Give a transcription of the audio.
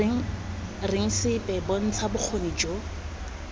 reng sepe bontsha bokgoni jo